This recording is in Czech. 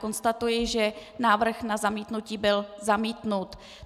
Konstatuji, že návrh na zamítnutí byl zamítnut.